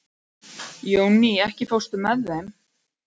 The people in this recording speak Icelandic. Jónný, ekki fórstu með þeim?